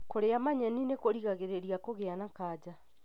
Kũria manyeni nĩ kũrigagĩrĩrĩa kũgia na kanja.